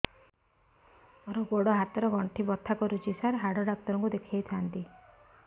ମୋର ଗୋଡ ହାତ ର ଗଣ୍ଠି ବଥା କରୁଛି ସାର ହାଡ଼ ଡାକ୍ତର ଙ୍କୁ ଦେଖାଇ ଥାନ୍ତି